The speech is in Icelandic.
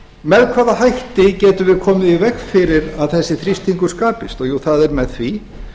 með hvaða hætti getum við komið í veg fyrir að þessi þrýstingur skapist það er með því